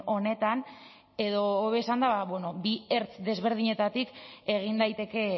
honetan edo hobe esanda bi ertz desberdinetatik egin daiteke